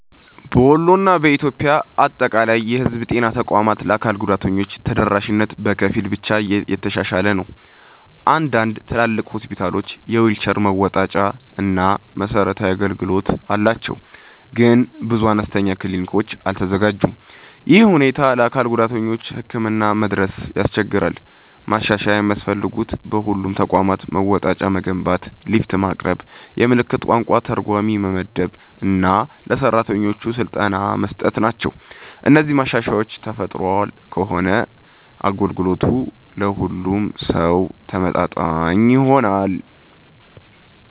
በወሎ እና በኢትዮጵያ አጠቃላይ የህዝብ ጤና ተቋማት ለአካል ጉዳተኞች ተደራሽነት በከፊል ብቻ የተሻሻለ ነው። አንዳንድ ትልቅ ሆስፒታሎች የዊልቸር መወጣጫ እና መሰረታዊ አገልግሎት አላቸው፣ ግን ብዙ አነስተኛ ክሊኒኮች አልተዘጋጁም። ይህ ሁኔታ ለአካል ጉዳተኞች ህክምና መድረስን ያስቸግራል። ማሻሻያ የሚያስፈልጉት በሁሉም ተቋማት መወጣጫ መገንባት፣ ሊፍት ማቅረብ፣ የምልክት ቋንቋ ተርጓሚ መመደብ እና ለሰራተኞች ስልጠና መስጠት ናቸው። እነዚህ ማሻሻያዎች ተፈጥሯል ከሆነ አገልግሎቱ ለሁሉም ሰው ተመጣጣኝ ይሆናል።